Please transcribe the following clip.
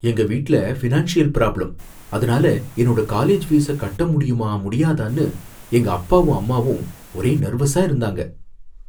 எங்க வீட்ல financial problem, அதுனால என்னோட காலேஜ் ஃபீஸ கட்ட முடியுமா முடியாதான்னு எங்க அப்பாவும் அம்மாவும் ஒரே நெர்வஸா இருந்தாங்க.